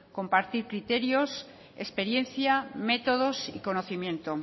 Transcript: compartir criterios experiencia métodos y conocimiento